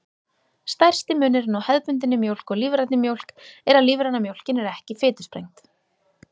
Stærsti munurinn á hefðbundinni mjólk og lífrænni mjólk er að lífræna mjólkin er ekki fitusprengd.